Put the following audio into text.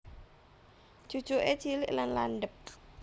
Cucuke cilik lan landhep